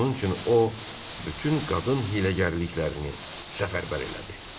Bunun üçün o bütün qadın hiyləgərliklərini səfərbər elədi.